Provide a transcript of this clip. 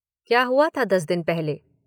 क्या हुआ था दस दिन पहले?